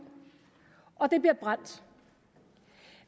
og det bliver brændt